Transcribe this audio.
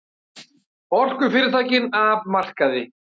Orkufyrirtækin af markaði